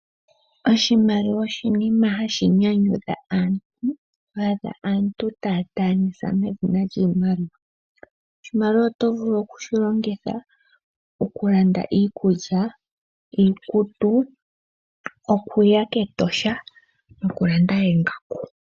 Oshimaliwa osho oshinima hashi nyanyudha aantu. Oto adha aantu taya ndaanisa medhina lyiimaliwa. Oshimaliwa oto vulu okushilongitha okulanda iikulya, iikutu, okuya kEtosha nokulanda oongaku.